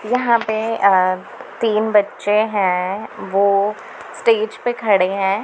यहां पे अ तीन बच्चे हैं वो स्टेज पे खड़े हैं।